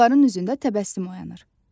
Onların üzündə təbəssüm oyanır.